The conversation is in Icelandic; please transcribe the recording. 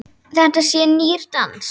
Þetta sé nýr dans.